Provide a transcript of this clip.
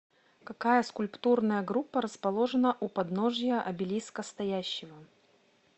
какая скульптурная группа расположена у подножия обелиска стоящего